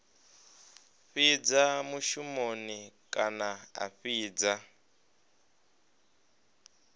fhidza mushumoni kana a fhidza